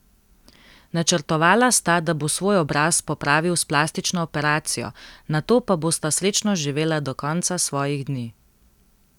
Načrtovala sta, da bo svoj obraz popravil s plastično operacijo, nato pa bosta srečno živela do konca svojih dni.